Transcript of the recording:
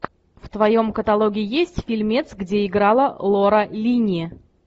в твоем каталоге есть фильмец где играла лора линни